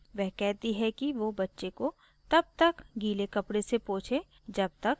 वह कहती है कि वो बच्चे को तब तक गीले कपडे से पोछे जब तक